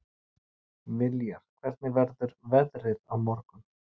Viljar, hvernig verður veðrið á morgun?